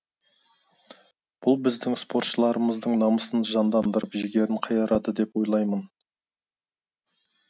бұл біздің спортшыларымыздың намысын жандандырып жігерін қайрады деп ойаймын